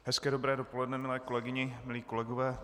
Hezké dobré dopoledne, milé kolegyně, milí kolegové.